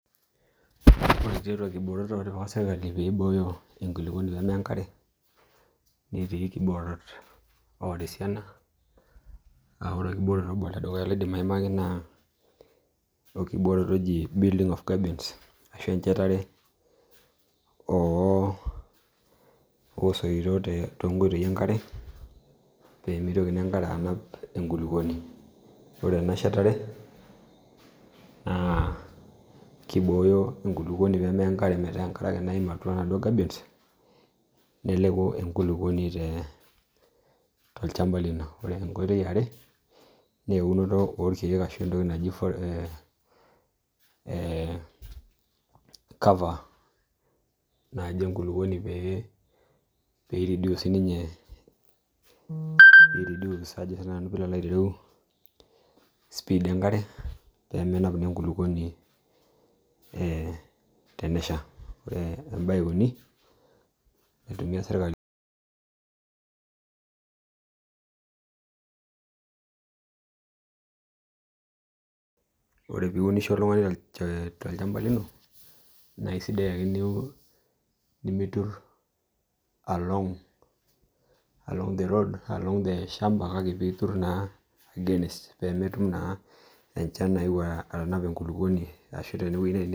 Ore nkiboorot naatipika serkali pee egilunore enterit pee meya enkare naa esiana; building gabions ashu enjetare oosoito toonkoitoi enkare peemitoki naa enkare aanap enkulukuoni ore ena shetare naa kibooyo enkulukuoni pee meya enkulukuoni metaa enkare ake naim Eunoto e cover pee eirudece siininye elototo enkare peemenap enkulukuoni tenesha Uni, ore piunisho oltungani tolchamba lino naa sidai tunimitur along olchamba kake piitur naa across pee menap enchan enkulukuoni